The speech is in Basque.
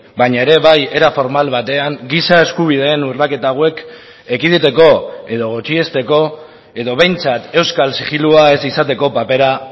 baina ere bai era formal batean giza eskubideen urraketa hauek ekiditeko edo gutxiesteko edo behintzat euskal zigilua ez izateko papera